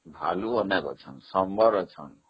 ଭାଲୁ ଅନେକ ଅଛନ୍ତି, ଶମ୍ବର ଅଛନ୍ତି